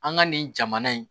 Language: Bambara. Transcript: An ka nin jamana in